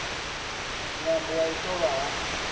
ṅwambo wa u ṱolwa ha